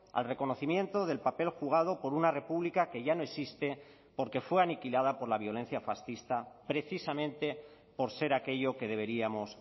al reconocimiento del papel jugado por una república que ya no existe porque fue aniquilada por la violencia fascista precisamente por ser aquello que deberíamos